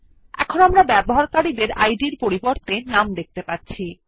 এখন আমরা ব্যবহারকারী ডের নামের পরিবর্তে ইদ দেখতে পাচ্ছি